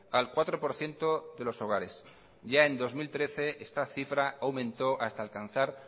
al cuatro por ciento de los hogares ya en dos mil trece esta cifra aumentó hasta alcanzar